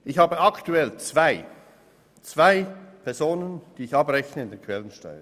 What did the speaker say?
Ich habe aktuell zwei Mitarbeitende, für die ich die Quellensteuer abrechne.